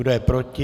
Kdo je proti?